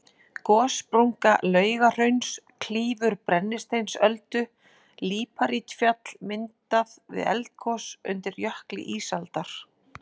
Gossprunga Laugahrauns klýfur Brennisteinsöldu, líparítfjall myndað við eldgos undir jökli ísaldar.